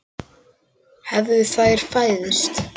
Hefðu þeir fæðst.